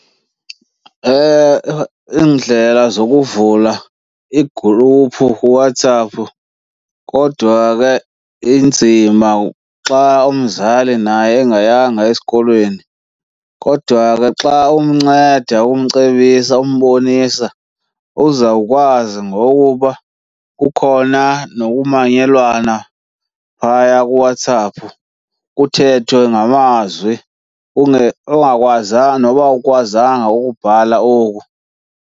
Iindlela zokuvula igruphu kuWhatsApp kodwa ke inzima xa umzali naye engayanga esikolweni. Kodwa ke xa umnceda umcebisa umbonisa, uzawukwazi ngokuba kukhona nokumanyelwana phaya kuWhatsApp, kuthethwe ngamazwi ungakwazanga noba awukwazanga ukubhala oku.